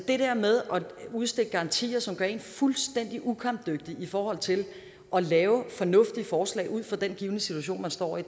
det der med at udstikke garantier som gør en fuldstændig ukampdygtig i forhold til at lave fornuftige forslag ud fra den givne situation man står i